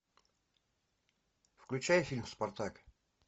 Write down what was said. включай фильм спартак